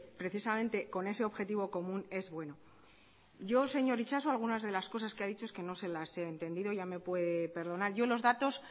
precisamente con ese objetivo común es bueno yo señor itxaso algunas de las cosas que ha dicho es que no se las he entendido ya me puede perdonar yo los datos